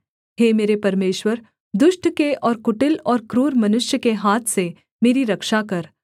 हे मेरे परमेश्वर दुष्ट के और कुटिल और क्रूर मनुष्य के हाथ से मेरी रक्षा कर